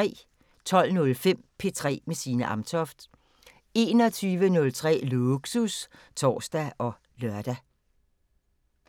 12:05: P3 med Signe Amtoft 21:03: Lågsus (tor og lør)